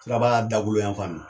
Siraba la dakoloyan fan nin na